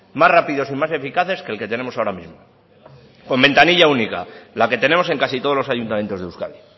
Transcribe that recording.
más rápidos y más eficaces que el que tenemos ahora mismo con ventanilla única la que tenemos en casi todos los ayuntamientos de euskadi